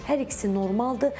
Hər ikisi normaldır.